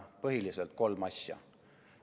Põhiliselt kolme asja.